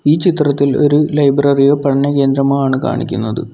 ഈ ചിത്രത്തിൽ ഒരു ലൈബ്രറി യോ പഠനകേന്ദ്രമോ ആണ് കാണിക്കുന്നത്.